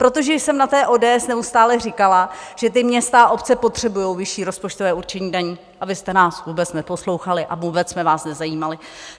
Protože jsem na té ODS neustále říkala, že ty města a obce potřebujou vyšší rozpočtové určení daní, a vy jste nás vůbec neposlouchali a vůbec jsme vás nezajímali.